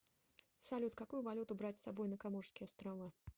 салют какую валюту брать с собой на коморские острова